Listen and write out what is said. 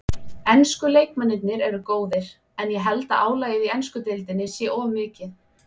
Ensku leikmennirnir eru góðir en ég held að álagið í ensku deildinni sé of mikið.